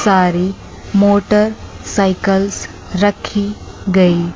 सारी मोटरसाइकिल्स रखी गई।